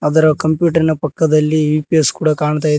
ಅದರ ಕಂಪ್ಯೂಟರ್ರಿನ ಪಕ್ಕದಲ್ಲಿ ಯು_ಪಿ_ಎಸ್ ಕೂಡ ಕಾಣ್ತಾ ಇದ್--